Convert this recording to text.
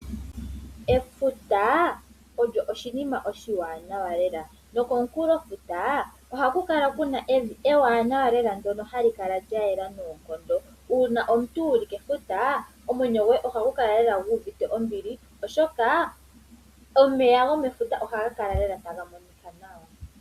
Efuta olyo oshinima oshiwanawa lela nokomukulo futa oha kukala Kuna evi ewanawa lela ndono hali kala lyayela noonkondo. Uuna omuntu wuli kefuta omwenyo goye ohagu kala lela guuvite ombili oshoka omeya gomefuta ohaga kala lela taga monika nawa.